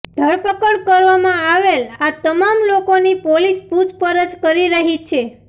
ધરપકડ કરવામાં આવેલ આ તમામ લોકોની પોલીસ પુછપરછ કરી રહી છે